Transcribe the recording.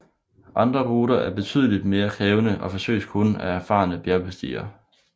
Andre ruter er betydeligt mere krævende og forsøges kun af erfarne bjergbestigere